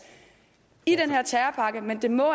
i den her terrorpakke men det må